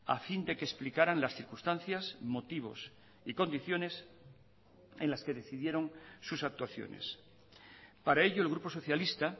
a fin de que explicaran las circunstancias motivos y condiciones en las que decidieron sus actuaciones para ello el grupo socialista